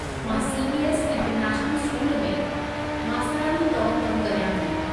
मां CBS. International school में मास्तरियाणीअ तौरु कमु करियां थी।